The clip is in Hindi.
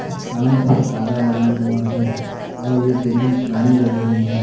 चांद और तारा बना हुआ है और ये बिल्डिंग पुरानी लग रही है।